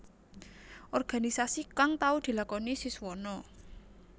Organisasi kang tau dilakoni Siswono